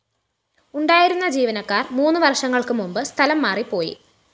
ഉണ്ടായിരുന്ന ജീവനക്കാര്‍ മൂന്ന് വര്‍ഷങ്ങള്‍ക്ക് മുമ്പ് സ്ഥലംമാറി പോയി